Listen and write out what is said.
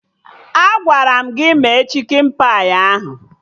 Agwara m gị mee chikin pai ahụ!